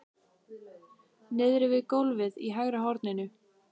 Niðri við gólfið í hægra horninu!